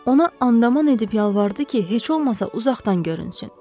Ona andaman edib yalvardı ki, heç olmasa uzaqdan görünsün.